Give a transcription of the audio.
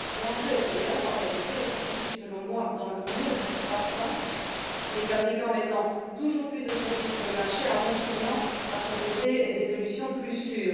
L'enjeu est ailleurs, en réalité, et se situe selon moi dans leur nombre croissant, les fabricants mettant toujours plus de produits sur le marché en rechignant à proposer des solutions plus sûres.